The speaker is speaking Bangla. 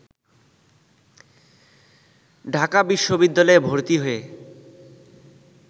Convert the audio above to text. ঢাকা বিশ্ববিদ্যালয়ে ভর্তি হয়ে